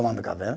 Tomando café, né?